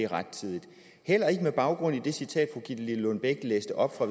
rettidigt heller ikke med baggrund i det citat fru gitte lillelund bech læste op fra